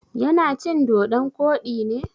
Ya na cin dodon koɗi ne?